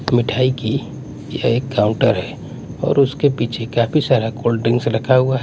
मिठाई की यह एक काउंटर है और उसके पीछे काफी सारा कोल्ड ड्रिंक्स रखा हुआ है।